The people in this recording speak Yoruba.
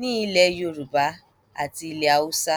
ní ilẹ yorùbá àti ilẹ haúsá